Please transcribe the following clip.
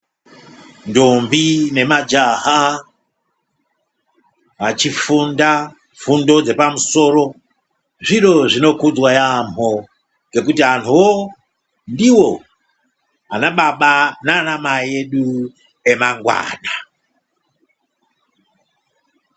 Ntombi nemajaha achifunda fundo dzepamusoro zviro zvinokudzwa yampho ngokuti antuwo ndiwo anababa nanamai edu amangwana.